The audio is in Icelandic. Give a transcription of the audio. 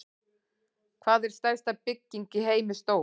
Hvað er stærsta bygging í heimi stór?